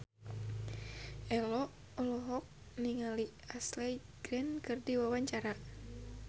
Ello olohok ningali Ashley Greene keur diwawancara